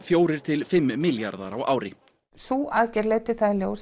fjórir til fimm milljarðar á ári sú aðgerð leiddi það í ljós